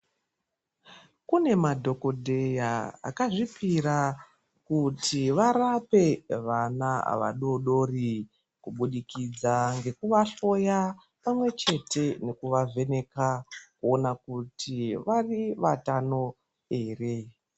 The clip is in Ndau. Kune madhokodheya akazvipira kuti varape vana vadodori kubudikidza ngekuvahloya pamwechete nekuvavheneka kuona kuti vari vatano here.